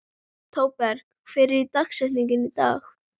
Thorberg, hver er dagsetningin í dag?